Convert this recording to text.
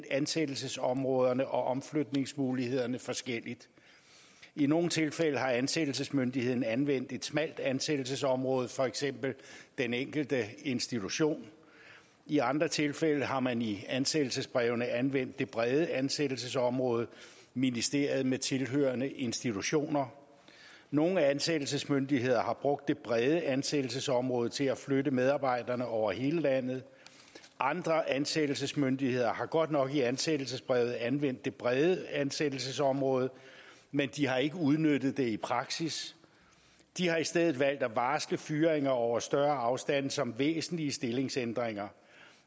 ansættelsesområderne og omflytningsmulighederne forskelligt i nogle tilfælde har ansættelsesmyndigheden anvendt et smalt ansættelsesområde for eksempel den enkelte institution i andre tilfælde har man i ansættelsesbrevene anvendt det brede ansættelsesområde ministeriet med tilhørende institutioner nogle ansættelsesmyndigheder har brugt det brede ansættelsesområde til at flytte medarbejderne over hele landet andre ansættelsesmyndigheder har godt nok i ansættelsesbrevet anvendt det brede ansættelsesområde men de har ikke udnyttet det i praksis de har i stedet valgt at varsle flytninger over større afstande som væsentlige stillingsændringer